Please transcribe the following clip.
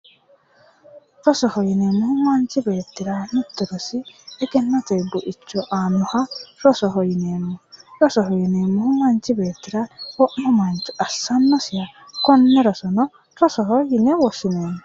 Rosoho yineemmohu anchi beettirano aannonke rosi egennote buicho aannoha rosoho yineeemmo. rosoho yineemmohu manchi beettira wo'ma mancho assannosi konne roso rosoho yine woshshinanni.